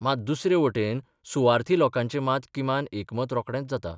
मात दुसरे वटेन सुवार्थी लोकांचें मात किमान एकमत रोकडेंच जाता.